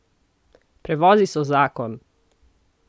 Prevozi so zakon!